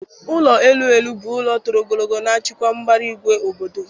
Ụlọ elu elu bụ ụlọ toro ogologo na-achịkwa mbara igwe obodo